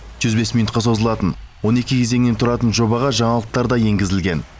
жүз бес минутқа созылатын он екі кезеңнен тұратын жобаға жаңалықтар да енгізілген